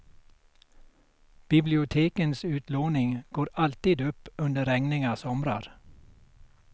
Bibliotekens utlåning går alltid upp under regniga somrar.